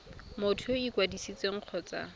motho yo o ikwadisitseng kgotsa